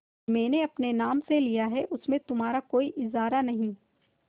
मैंने अपने नाम से लिया है उसमें तुम्हारा कोई इजारा नहीं